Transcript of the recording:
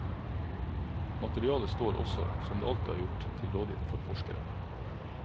Materialet står også, som det alltid har gjort, til rådighet for forskere.